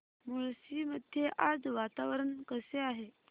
मुळशी मध्ये आज वातावरण कसे आहे